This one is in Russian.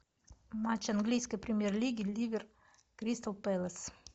матч английской премьер лиги ливер кристал пэлас